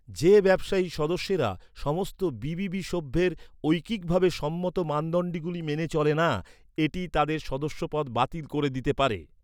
যে ব্যবসায়ী সদস্যেরা সমস্ত বি.বি.বি সভ্যের ঐকিকভাবে সম্মত মানদণ্ডগুলি মেনে চলে না, এটি তাদের সদস্যপদ বাতিল করে দিতে পারে।